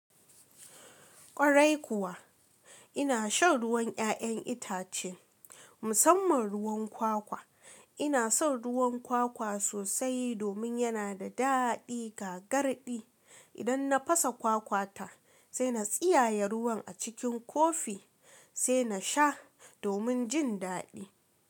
Kwarai kuwa ina shan ruwan 'ya'yan itace, musamman ruwan kwakwa. Ina son ruwan kwakwa sosai domin yana da daɗi gagarɗi. Idan na fasa kwakwa ta, sai na tsiyaye ruwan a cikin kofi sai na sha domin jin daɗi.